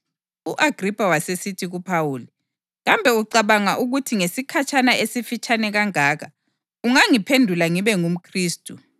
U-Agripha wasesithi kuPhawuli, “Kambe ucabanga ukuthi ngesikhatshana esifitshane kangaka ungangiphendula ngibe ngumKhristu?”